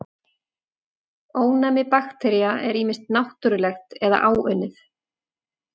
Ónæmi baktería er ýmist náttúrlegt eða áunnið.